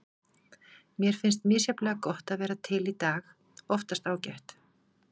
Mér finnst misjafnlega gott að vera til í dag- oftast ágætt.